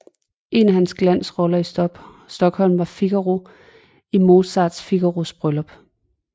En af hans glansroller i Stockholm var Figaro i Mozarts Figaros bryllup